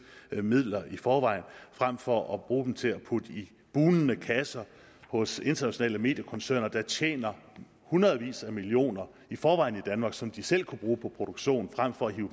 midler i forvejen frem for at bruge dem til at putte i bugnende kasser hos internationale mediekoncerner der tjener hundredvis af millioner i forvejen i danmark som de selv kunne bruge på produktion frem for at hive